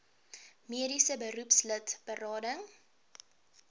mediese beroepslid berading